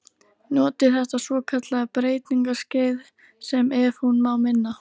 Noti þetta svokallaða breytingaskeið- sem, ef hún má minna